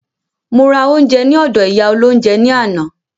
Mo ra oúnjẹ ní ọdọ̀ ìyá olóhúnjẹ ní àná.